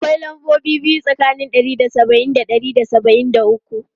Akwai lambobi biyu tsakanin ɗari da saba'in da ɗari da saba'in da uku.